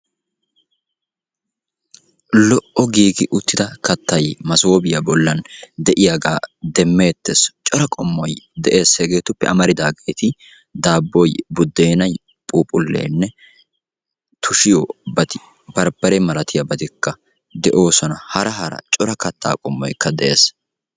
lo''o giigi uttida kattay maasopiyaa bollan de'iyaaga demmeetees. coraa qommoy de'ees, hegetuppe amaridaageeti daabboy, buddenay, phuuphphulenne tushiyoobati barbbare malatiyaabati de'oosona. hara hara coraa katta qommoy de'ees.